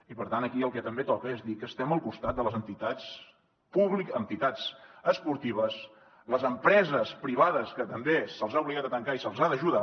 i per tant aquí el que també toca és dir que estem al costat de les entitats esportives les empreses privades que també se les ha obligat a tancar i se les ha d’ajudar